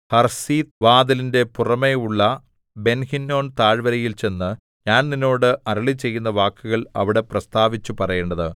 Harsith ഓട്ടുനുറുക്ക് വാതിലിന്റെ പുറമെയുള്ള ബെൻഹിന്നോം താഴ്വരയിൽ ചെന്ന് ഞാൻ നിന്നോട് അരുളിച്ചെയ്യുന്ന വാക്കുകൾ അവിടെ പ്രസ്താവിച്ചു പറയേണ്ടത്